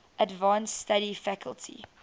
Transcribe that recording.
advanced study faculty